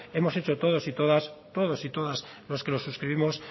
hemos hecho todos y todas los que lo suscribimos